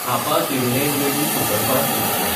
Hapa Tirunelveli superfast express